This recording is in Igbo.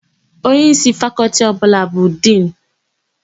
Onyeísí Fakọltị ọbụla bụ Dinu.